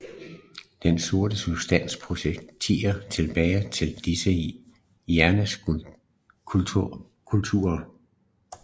Den sorte substans projicerer tilbage til disse hjernestrukturer